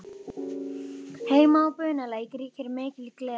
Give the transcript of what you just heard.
Heima á Bunulæk ríkir mikil gleði.